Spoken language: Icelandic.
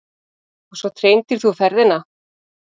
Og svo treindir þú ferðina.